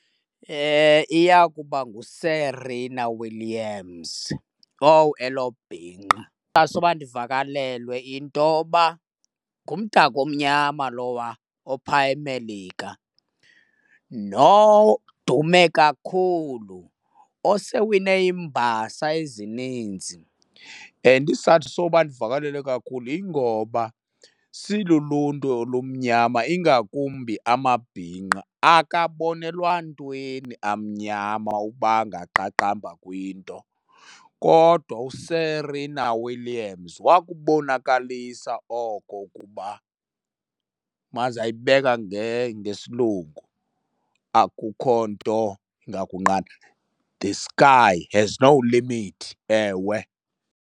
Iya kuba nguSerena Williams. Owu, elo bhinqa! Isizathu soba ndivakalelwe into yoba ngumdaka omnyama lowa ophaya eMelika nodume kakhulu osewine iimbasa ezininzi. And isizathu soba ndivakalelwe kakhulu yingoba siluluntu olumnyama ingakumbi amabhinqa akabonelwa ntweni, amnyama ukuba angaqaqamba kwinto. Kodwa uSerena Williams wakubonakalisa oko ukuba, yima ndizayibeka ngesilungu. Akukho nto ingakunqanda, the sky has no limit. Ewe!